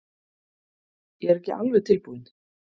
Ég er ekki alveg tilbúinn.